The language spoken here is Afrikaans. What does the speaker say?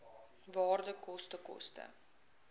waarde koste koste